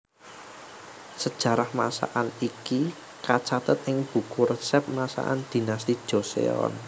Sejarah masakan iki kacathet ing buku resep masakan Dinasti Joseon